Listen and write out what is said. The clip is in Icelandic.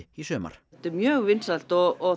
í sumar þetta er mjög vinsælt og